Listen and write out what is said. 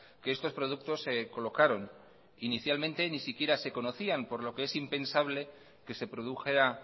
que estos productos se colocaron inicialmente ni siquiera se conocían por lo que es impensable que se produjera